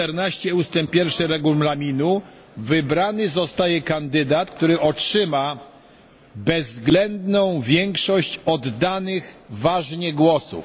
14 ust. 1 Regulaminu wybrany zostaje kandydat, który otrzyma bezwzględną większość oddanych ważnie głosów.